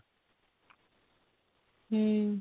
ହୁଁ